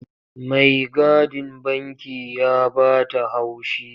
Maigadin banki ya ba ta haushi.